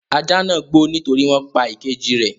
Ajá náà ń gbó nítorí wọn pa ìkejì rẹ̀.